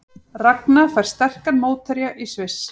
Ragna fær sterkan mótherja í Sviss